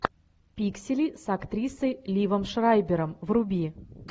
пиксели с актрисой ливом шрайбером вруби